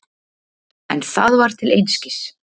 En það var til einskis.